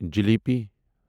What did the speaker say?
jalebi